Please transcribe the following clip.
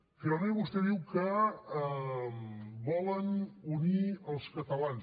finalment vostè diu que volen unir els catalans